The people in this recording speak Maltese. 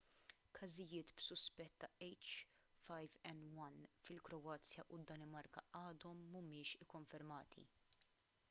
każijiet b'suspett ta’ h5n1 fil-kroazja u d-danimarka għadhom mhumiex ikkonfermati